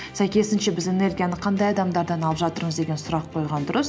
сәйкесінше біз энергияны қандай адамдардан алып жатырмыз деген сұрақ қойған дұрыс